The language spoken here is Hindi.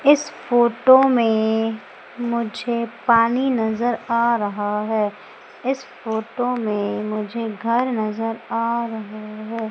इस फोटो में मुझे पानी नजर आ रहा है इस फोटो में मुझे घर नजर आ रहे हैं।